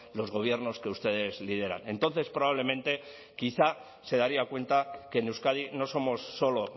los gobiernos que ustedes lideran entonces probablemente quizá se daría cuenta que en euskadi no somos solo